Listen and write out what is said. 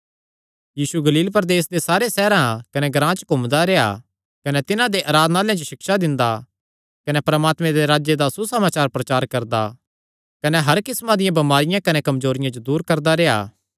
यीशु गलील प्रदेसे दे सारे सैहरां कने ग्रां च घूमदा रेह्आ कने तिन्हां दे आराधनालयां च सिक्षा दिंदा कने परमात्मे दे राज्जे दा सुसमाचार प्रचार करदा कने हर किस्मां दियां बमारियां कने कमजोरियां जो दूर करदा रेह्आ